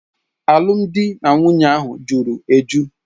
Alụmdi na nwunye ahụ juru eju.